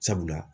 Sabula